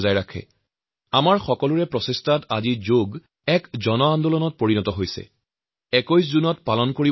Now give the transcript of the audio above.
সেয়েহে আমাৰ সকলোৰে দায়ৱদ্ধতাৰ ফলত যোগ চৰ্চাই আজি এক গণ আন্দোলন হিচাবে গঢ় লৈ উঠিছে আৰু ঘৰে ঘৰে পাইছেগৈ